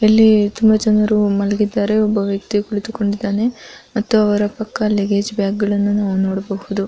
ಇಲ್ಲಿ ತುಂಬಾ ಜನರು ಮಲಗಿದ್ದಾರೆ ಒಬ್ಬ ವ್ಯಕ್ತಿ ಕುಳಿತುಕೊಂಡಿದ್ದಾನೆ ಮತ್ತು ಅವರ ಪಕ್ಕಾ ಲಗೆಜ ಬ್ಯಾಗ ಗಳನ್ನು ನಾವ ನೊಡಬಹುದು .